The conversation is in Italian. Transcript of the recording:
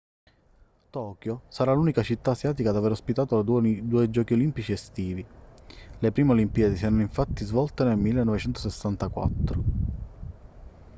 tokyo sarà l'unica città asiatica ad aver ospitato due giochi olimpici estivi le prime olimpiadi si erano infatti svolte nel 1964